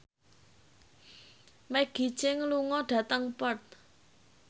Maggie Cheung lunga dhateng Perth